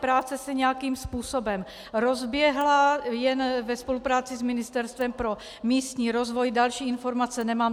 Práce se nějakým způsobem rozběhla jen ve spolupráci s Ministerstvem pro místní rozvoj, další informace nemám.